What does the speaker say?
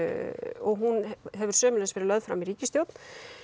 og hún hefur sömuleiðis verið lögð fram í ríkisstjórn